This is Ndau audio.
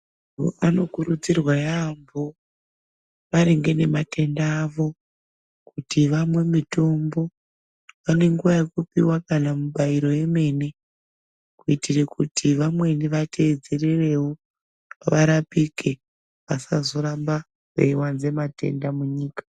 Antu anokurudzirwa yaambo maringe nematenda avo kuti vamwe mitombo. Vanenguwa yekupiwa kana mibairo yemene kuitire kuti vamweni vateedzererewo, varapike, vasazoramba veiwanze matenda munyika.